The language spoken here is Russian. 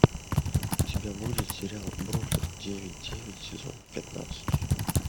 у тебя будет сериал бруклин девять девять сезон пятнадцать